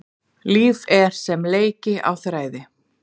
Líf er sem leiki á þræði.